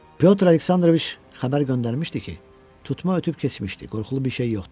Pyotr Aleksandroviç xəbər göndərmişdi ki, tutma ötüb keçmişdi, qorxulu bir şey yoxdur.